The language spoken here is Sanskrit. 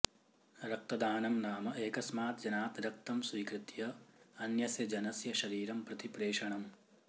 रक्तदानं नाम एकस्मात् जनात् रक्तं स्वीकृत्य अन्यस्य जनस्य शरीरं प्रति प्रेषणम्